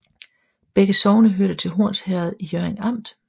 Begge sogne hørte til Horns Herred i Hjørring Amt